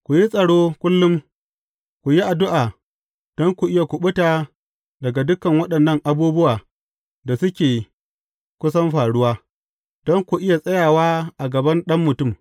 Ku yi tsaro kullum, ku yi addu’a don ku iya kuɓuta daga dukan waɗannan abubuwa da suke kusan faruwa, don ku iya tsayawa a gaban Ɗan Mutum.